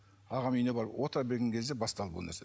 ағамның үйіне барып отыра берген кезде басталды бұл нәрсе